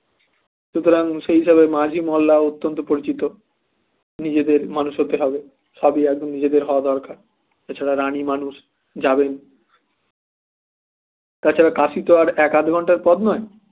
সুতরাং সেই হিসেবে মাঝি মোল্লার অত্যন্ত পরিচিত নিজেদের মানুষ হতে হবে সাধু আগে নিজেদের হওয়া দরকার এ ছাড়া রানী মানুষ যাবেন তাছাড়া কাসি তো আর এক আধ ঘন্টার পথ নয়